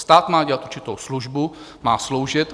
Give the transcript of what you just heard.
Stát má dělat určitou službu, má sloužit.